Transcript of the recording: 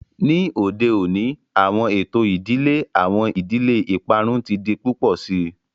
Ni ode oni awọn eto idile, awọn idile iparun ti di pupọ sii.